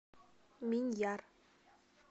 миньяр